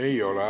Ei ole.